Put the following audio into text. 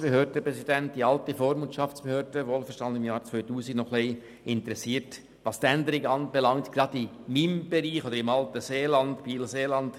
Als ehemaliger Präsident der alten Vormundschaftsbehörde, wohlverstanden im Jahr 2000, interessiert mich noch ein wenig die Änderung in meinem alten Bereich Biel-Seeland.